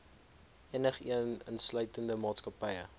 enigeen insluitende maatskappye